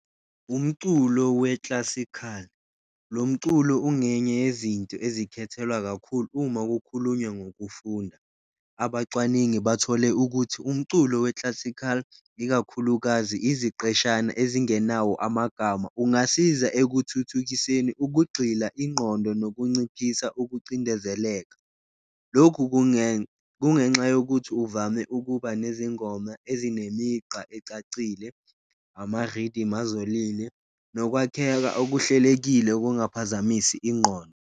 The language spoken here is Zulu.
Umculo we-classical, lo mculo ungenye yezinto ezikhethelwa kakhulu uma kukhulunywa ngokufunda, abacwaningi bathole ukuthi umculo we-classical ikakhulukazi iziqeshana ezingenawo amagama. Ungasiza ekuthuthukiseni ukugxila, ingqondo nokunciphisa ukucindezeleka, lokhu kungenxa yokuthi uvame ukuba nezingoma ezinemigqa ecacile, ama-rythm azolile nokwakheka okuhlelekile okungaphazamisi ingqondo.